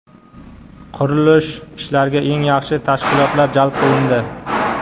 Qurilish ishlariga eng yaxshi tashkilotlar jalb qilindi.